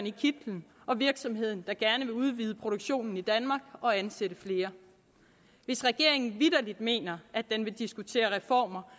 i kitlen og virksomheden der gerne vil udvide produktionen i danmark og ansætte flere hvis regeringen vitterlig mener at den vil diskutere reformer